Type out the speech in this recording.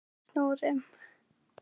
um og snúrum.